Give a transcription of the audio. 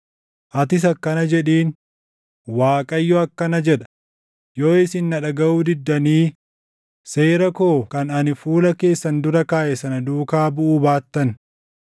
Atis akkana jedhiin; Waaqayyo akkana jedha; ‘Yoo isin na dhagaʼuu diddanii, seera koo kan ani fuula keessan dura kaaʼe sana duukaa buʼuu baattan,